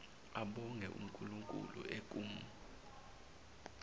abonge unkulunkulu ekum